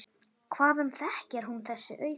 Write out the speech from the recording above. Hvaðan þekkir hún þessi augu?